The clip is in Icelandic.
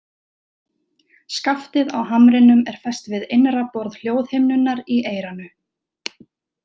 Skaftið á hamrinum er fest við innra borð hljóðhimnunnar í eyranu.